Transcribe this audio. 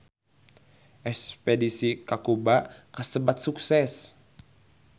Espedisi ka Kuba kasebat sukses